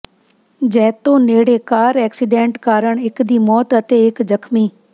ਜੈਤੋ ਨੇੜੇ car accident ਕਾਰਨ ਇੱਕ ਦੀ ਮੌਤ ਅਤੇ ਇੱਕ ਜ਼ਖਮੀ